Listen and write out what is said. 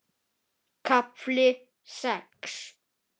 KAFLI SEX